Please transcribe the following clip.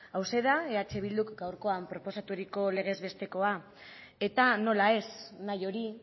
hauxe da eh bilduk gaurkoan proposaturiko legez bestekoa eta nola ez nahi hori